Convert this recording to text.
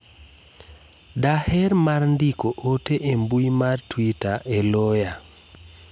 daher mar ndiko ote e mbui mar twitter eloya